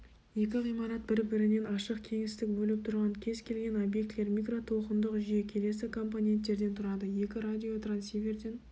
екі ғимарат бір-бірінен ашық кеңістік бөліп тұрған кез-келген обьектілер микротолқындық жүйе келесі компоненттерден тұрады екі радиотрансиверден